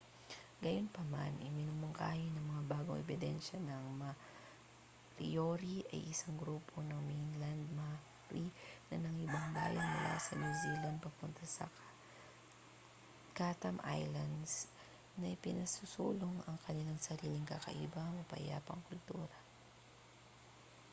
gayunpaman iminumungkahi ng mga bagong ebidensya na ang moriori ay isang grupo ng mainland maori na nangibang-bayan mula sa new zealand papunta sa chatham islands na pinasusulong ang kanilang sariling kakaiba mapayapang kultura